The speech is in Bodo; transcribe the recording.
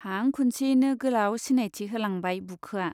हां खुनसेयैनो गोलाव सिनायथि होलांबाय बुखोआ।